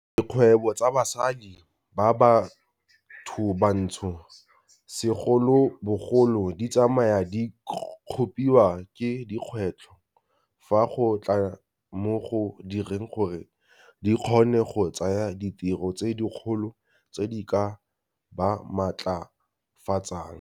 Dikgwebo tsa basadi ba bathobantsho segolobogolo di tsamaya di kgopiwa ke dikgwetlho fa go tla mo go direng gore di kgone go tsaya ditiro tse dikgolo tse di ka ba matlafatsang.